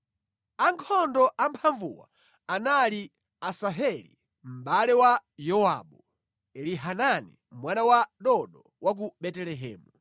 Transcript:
Ankhondo amphamvuwa anali: Asaheli mʼbale wa Yowabu, Elihanani mwana wa Dodo wa ku Betelehemu,